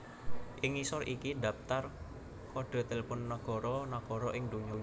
Ing ngisor iki dhaptar kodhe telepon nagara nagara ing donya